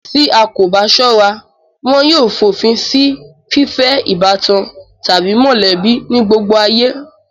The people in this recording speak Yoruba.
Tí a bà kò bá sọ́ra, wọn yóò fòfin si fífẹ́ ìbátan tàbí mọ̀lẹ́bí ní gbogbo ayé